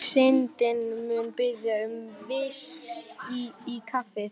Við eigum erindi við Danina, svaraði Ólafur Tómasson.